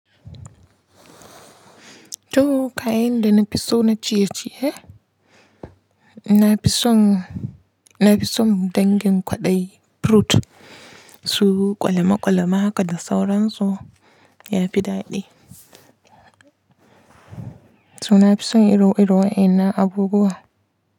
To, kayan da na fi so na ciye-ciye, na fi son, na fi son dangin kwaɗayi fruit su ƙwalamaƙwalama kada sauran su ya fi daɗi. To na fi son iru-irun wa innan abubuwa.